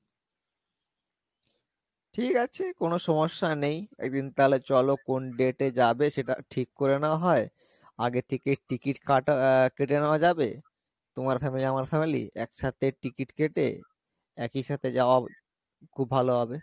ঠিক আছে কোনো সমস্যা নেই একদিন তালে চলো কোন date এ যাবে সেটা ঠিক করে না হয় আগে থেকে ticket কাটা আহ কেটে নেওয়া যাবে তোমার family আমার family একসাথে ticket কেটে একই সাথে যাওয়া খুব ভালো হবে